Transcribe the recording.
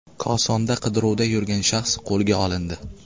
Kosonda qidiruvda yurgan shaxs qo‘lga olindi.